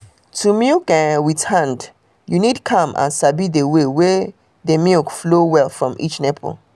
to milk um with hand you need calm and sabi the way wey de milk flow um well from each nipple